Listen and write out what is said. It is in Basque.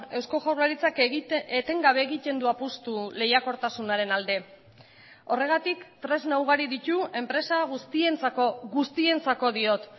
eusko jaurlaritzak eten gabe egiten du apustu lehiakortasunaren alde horregatik tresna ugari ditu enpresa guztientzako guztientzako diot